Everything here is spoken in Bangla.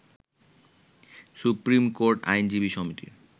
সুপ্রিম কোর্ট আইনজীবী সমিতির